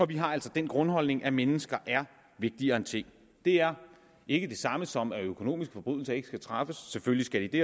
vi har altså den grundholdning at mennesker er vigtigere end ting det er ikke det samme som at økonomiske forbrydelser ikke skal straffes selvfølgelig skal de det